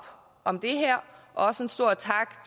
om det her og en stor tak